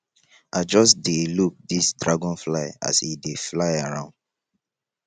i just dey look dis dragonfly as e dey fly around